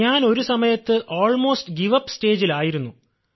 ഞാൻ ഒരു സമയത്ത് നിർത്തിവയ്ക്കേണ്ട അവസ്ഥയിൽ ആയിരുന്നു